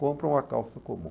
Compram a calça comum.